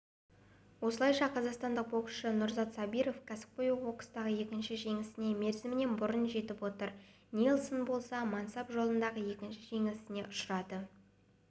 осылайша қазақстандық боксшы нұрзат сабиров кәсіпқой бокстағы екінші жеңісіне мерзімінен бұрын жетіп отыр нельсон болса мансап жолында екінші жеңілісіне ұшырады